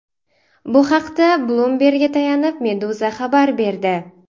Bu haqda Bloomberg‘ga tayanib, Meduza xabar berdi .